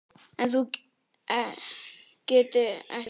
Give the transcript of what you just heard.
En getur þú ekkert sungið?